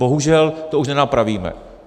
Bohužel, to už nenapravíme.